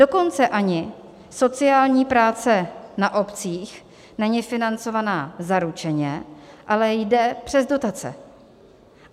Dokonce ani sociální práce na obcích není financovaná zaručeně, ale jde přes dotace.